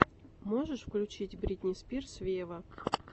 можешь включить бритни спирс вево